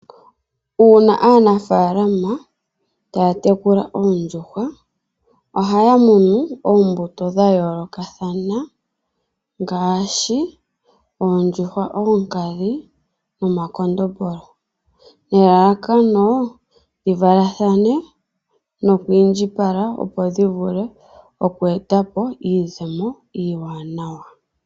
Uuna aanafaalama taya tekula oondjuhwa ohaya munu oombuto dha yoolokathana ngaashi oondjuhwa oonkadhi nomakondombolo nelalakano dhivalathane nokwiindjipala opo dhivule oku eta po iizemo iiwanawa.